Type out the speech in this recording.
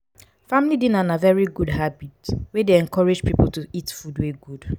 family dinner na very good habit wey dey encourage pipo to eat food wey good